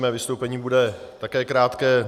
Mé vystoupení bude také krátké.